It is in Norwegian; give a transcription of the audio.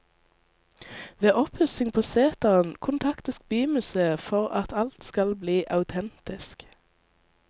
Ved oppussing på seteren kontaktes bymuseet for at alt skal bli autentisk.